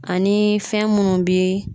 Ani fɛn munnu bi